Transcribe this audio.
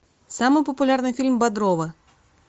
самый популярный фильм бодрова